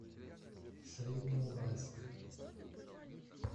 среднеуральск